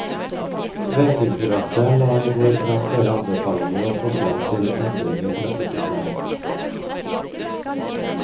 Vegdirektoratet la i går frem flere anbefalinger og forslag til endringer i trafikkopplæringen.